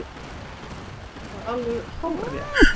Bjarni segir það alveg hárrétt.